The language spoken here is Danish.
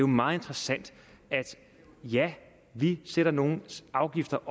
meget interessant ja vi sætter nogle afgifter